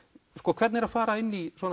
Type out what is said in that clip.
hvernig er að fara inn í svona